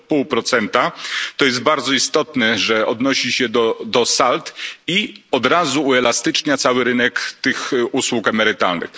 0,5. To jest bardzo istotne, że odnosi się do sald, i od razu uelastycznia cały rynek tych usług emerytalnych.